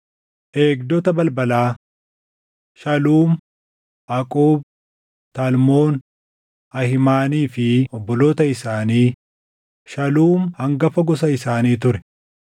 Eegdota balbalaa: Shaluum, Aquub, Talmoon, Ahiimanii fi obboloota isaanii; Shaluum hangafa gosa isaanii ture;